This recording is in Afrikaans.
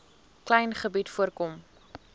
klein gebied voorkom